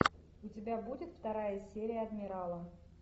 у тебя будет вторая серия адмирала